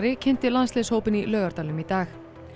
kynnti landsliðshópinn í Laugardalnum í dag